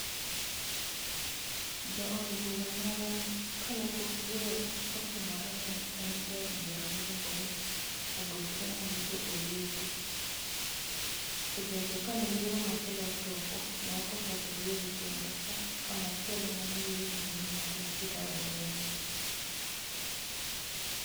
Jaod bura marwa kane pok yiero otimore ne en jaod bura miluongo ni Augostino Neto Oyugi. To bende kane yiero machielo ochopo ne ok ochak oyiere kendo ka machielo mane oyier en Martin Peters Owino